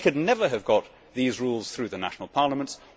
They could never have got these rules through the national parliaments.